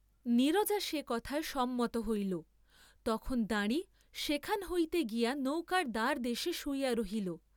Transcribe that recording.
নীরজা সে কথায় সম্মত হইল, তখন দাঁড়ি সেখান হইতে গিয়া নৌকার দ্বারদেশে শুইয়া রহিল।